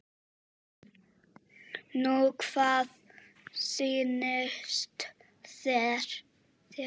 Nú hvað sýnist þér.